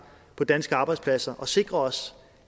på danske arbejdspladser og sikre os